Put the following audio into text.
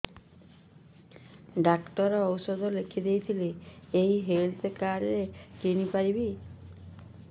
doctor ଔଷଧ ଲେଖିଦେଇଥିଲେ ଏଇ ହେଲ୍ଥ କାର୍ଡ ରେ କିଣିପାରିବି